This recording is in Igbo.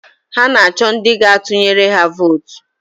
Ha na-achọ ndị gaa-tụnyere ha vootu